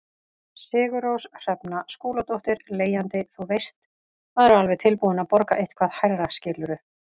Sigurrós Hrefna Skúladóttir, leigjandi: Þú veist, maður er alveg tilbúin að borga eitthvað hærra skilurðu?